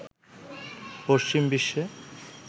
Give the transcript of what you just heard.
পশ্চিম বিশ্বে